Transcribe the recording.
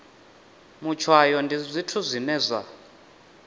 matshwayo ndi zwithu zwine zwa